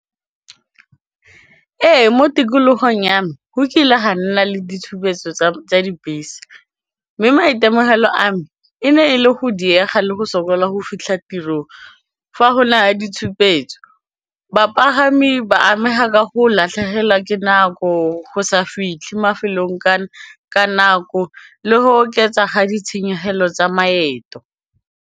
Ee, mo tikologong ya me go kile ga nna le ditshupetso tsa dibese mme maitemogelo a me e ne e le go diega le go sokola go fitlha tirong fa go na le ditshupetso, bapagami ba amega ka go latlhegelwa ke nako go sa fitlhe mafelong ka nako le go oketsa ga ditshenyegelo tsa maeto.